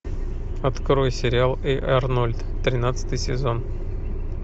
открой сериал эй арнольд тринадцатый сезон